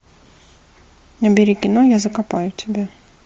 набери кино я закопаю тебя